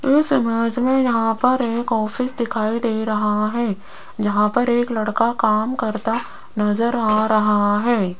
इस इमेज में यहां पर एक ऑफिस दिखाई दे रहा है जहां पर एक लड़का काम करता नजर आ रहा है।